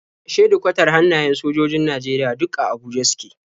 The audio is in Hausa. Shedikwatar hannayen sojojojin Najeriya duk a Abuja suke.